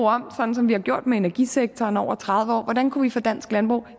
omformet som vi har gjort med energisektoren over tredive år hvordan vi kunne få dansk landbrug